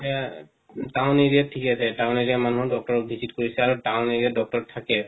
হেয়া town area ত ঠিকে আছে town area মানুহ doctor visit কৰিছে আৰু town area ত doctor থাকে